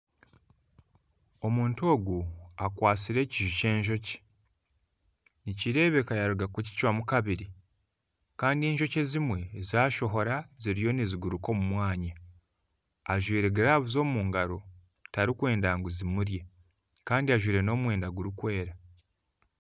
Omuntu ogu akwatsire ekiju kyenjoki nikirebeka yaruga kukicwamu kabiri Kandi enjoki ezimwe zashohora ziriyo niziguruka omu mwanya ajwaire girava omu ngaro tarikwenda ngu zimurye Kandi ajwaire nomwenda gurikwera